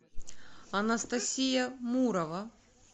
анастасия мурова